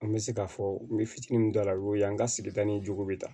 An bɛ se ka fɔ n bɛ fitinin min don a la o y'o ye an ka sigida ni jugu bɛ ta